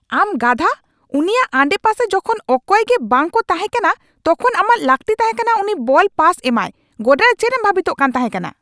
ᱟᱢ ᱜᱟᱫᱦᱟ ᱾ ᱩᱱᱤᱭᱟᱜ ᱟᱰᱮᱯᱟᱥᱮᱨᱮ ᱡᱚᱠᱷᱚᱱ ᱚᱠᱚᱭᱜᱮ ᱵᱟᱝ ᱠᱚ ᱛᱟᱦᱮᱠᱟᱱᱟ ᱛᱚᱠᱷᱚᱱ ᱟᱢᱟᱜ ᱞᱟᱹᱜᱛᱤ ᱛᱟᱦᱮᱠᱟᱱᱟ ᱩᱱᱤ ᱵᱚᱞ ᱯᱟᱥ ᱮᱢᱟᱭ ᱾ ᱜᱚᱰᱟᱨᱮ ᱪᱮᱫ ᱮᱢ ᱵᱷᱟᱹᱵᱤᱛᱚᱜ ᱠᱟᱱ ᱛᱟᱦᱮᱠᱟᱱᱟ ?